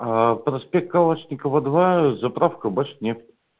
проспект калашникова два заправка башнефть